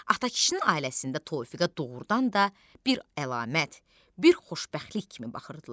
Atakişinin ailəsində Tofiqə doğurdan da bir əlamət, bir xoşbəxtlik kimi baxırdılar.